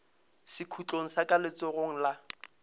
sekhutlong sa ka letsogong la